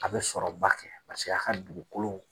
A bɛ sɔrɔba kɛ a ka dugukolo